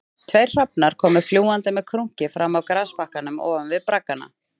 Tveir hrafnar komu fljúgandi með krunki fram af grasbakkanum ofan við braggana